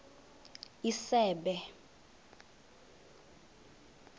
isebe